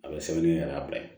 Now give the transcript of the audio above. A bɛ sɛbɛnni yɛrɛ bila